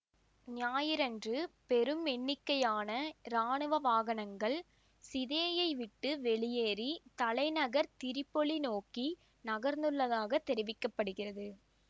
ஞாயிறன்று பெரும் எண்ணிக்கையான இராணுவ வாகனங்கள் சிதேயை விட்டு வெளியேறி தலைநகர் திரிப்பொலி நோக்கி நகர்ந்துள்லதாகத் தெரிவிக்க படுகிறது